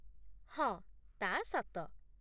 ହଁ, ତା' ସତ